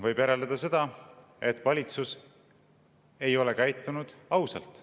Võib järeldada seda, et valitsus ei ole käitunud ausalt.